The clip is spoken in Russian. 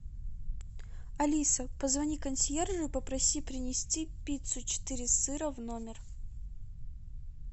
алиса позвони консьержу и попроси принести пиццу четыре сыра в номер